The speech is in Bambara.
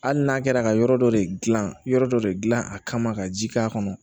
Hali n'a kɛra ka yɔrɔ dɔ de gilan yɔrɔ dɔ de gilan a kama ka ji k'a kɔnɔ